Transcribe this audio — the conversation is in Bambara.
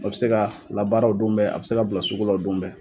O bɛ se ka labaara o don bɛɛ, a bɛ se ka bila sugu la o don bɛɛ!